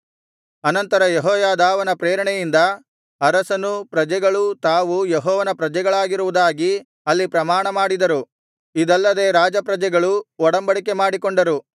ಅನಂತರ ಯೆಹೋಯಾದಾವನ ಪ್ರೇರಣೆಯಿಂದ ಅರಸನೂ ಪ್ರಜೆಗಳೂ ತಾವು ಯೆಹೋವನ ಪ್ರಜೆಗಳಾಗಿರುವುದಾಗಿ ಅಲ್ಲಿ ಪ್ರಮಾಣ ಮಾಡಿದರು ಇದಲ್ಲದೆ ರಾಜಪ್ರಜೆಗಳೂ ಒಡಂಬಡಿಕೆಮಾಡಿಕೊಂಡರು